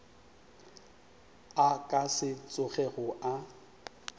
a ka se tsogego a